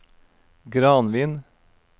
Granvin